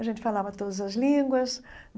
A gente falava todas as línguas.